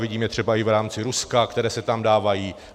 Vidím je třeba i v rámci Ruska, které se tam dávají.